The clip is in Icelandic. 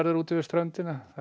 út við ströndina hvað er